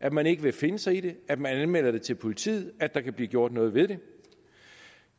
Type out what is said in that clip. at man ikke vil finde sig i det at man anmelder det til politiet at der kan blive gjort noget ved det